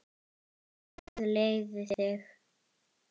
Guð leiði þig.